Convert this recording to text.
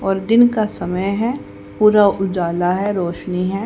और दिन का समय है पूरा उजाला है रोशनी है।